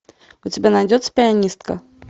у тебя найдется пианистка